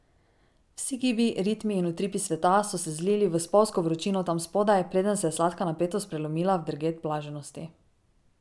Vsi gibi, ritmi in utripi sveta so se zlili v spolzko vročino tam spodaj, preden se je sladka napetost prelomila v drget blaženosti.